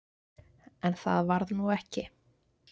En það varð nú ekki.